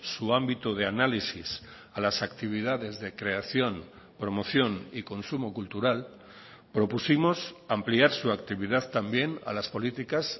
su ámbito de análisis a las actividades de creación promoción y consumo cultural propusimos ampliar su actividad también a las políticas